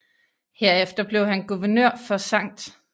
Herefter blev han guvernør for St